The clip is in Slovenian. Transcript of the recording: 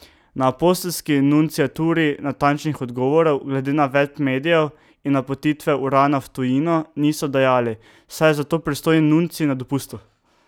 Na Apostolski nunciaturi natančnih odgovorov glede navedb medijev in napotitve Urana v tujino niso dajali, saj je za to pristojni nuncij na dopustu.